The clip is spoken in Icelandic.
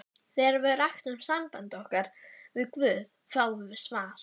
Þegar við ræktum samband okkar við guð fáum við svar.